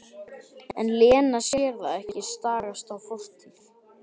En Lena sér það ekki, stagast á fortíð.